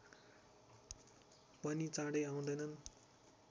पनि चाडै आउदैनन्